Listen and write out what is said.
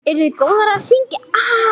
Eruð þið góðar að syngja?